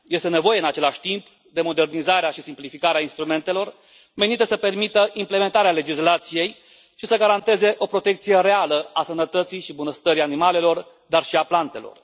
Este nevoie, în același timp, de modernizarea și simplificarea instrumentelor, menită să permită implementarea legislației și să garanteze o protecție reală a sănătății și bunăstării animalelor, dar și a plantelor.